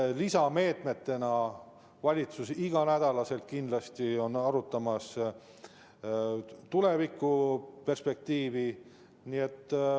Lisameetmetena arutab valitsus kindlasti iga nädal tulevikuperspektiivi.